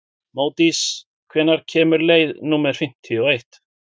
Módís, hvenær kemur leið númer fimmtíu og eitt?